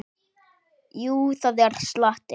Jú, það er slatti.